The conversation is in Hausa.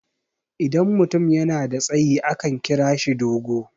idan mutum yana da tsayi akan kira shi dogo